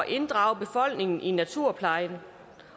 inddrage befolkningen i naturpleje